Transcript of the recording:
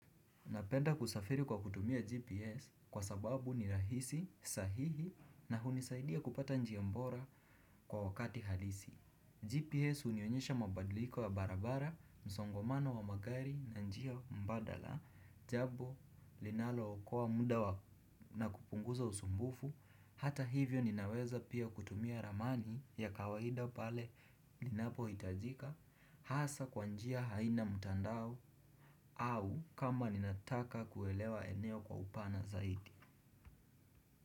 Napenda kusafiri kwa kutumia GPS kwa sababu ni rahisi, sahihi na hunisaidia kupata njia bora kwa wakati halisi. GPS hunionyesha mabadiliko ya barabara, msongamano wa magari na njia mbadala, jambo linalookoa muda na kupunguza usumbufu, hata hivyo ninaweza pia kutumia ramani ya kawaida pale inapohitajika, hasa kwa njia haina mtandao au kama ninataka kuelewa eneo kwa upana zaidi.